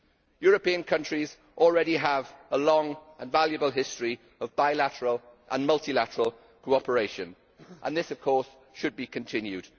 European countries already have a long and valuable history of bilateral and multilateral cooperation and this should be continued.